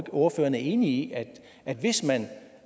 ordføreren er enig i at hvis man